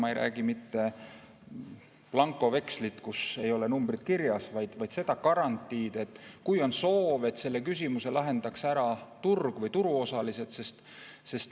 Ma ei räägi mitte blankovekslist, kus ei ole numbrid kirjas, vaid garantiist, kui on soov, et selle küsimuse lahendaks ära turg või turuosalised.